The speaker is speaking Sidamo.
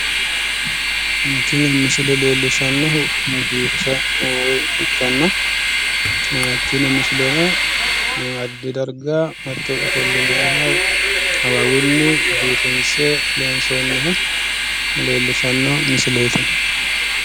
Tini misile leellishannohu biifisa woyi ikkanna, tini misileno addi dargga hatto ofollinanniha awawunni biifinsse loonsonniha leellishshanno misileeti.